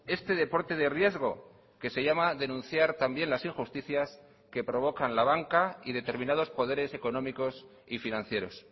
este deporte de riesgo que se llama denunciar también las injusticias que provocan la banca y determinados poderes económicos y financieros